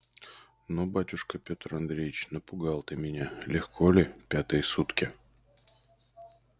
ну батюшка пётр андреич напугал ты меня легко ли пятые сутки